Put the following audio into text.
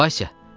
Valsya!